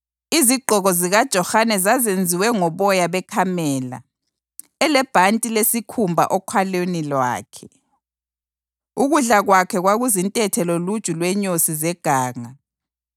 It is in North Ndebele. Izigqoko zikaJohane zazenziwe ngoboya bekamela, elebhanti lesikhumba okhalweni lwakhe. Ukudla kwakhe kwakuzintethe loluju lwenyosi zeganga.